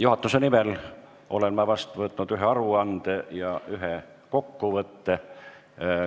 Juhatuse nimel olen ma vastu võtnud ühe aruande ja ühe kokkuvõtte.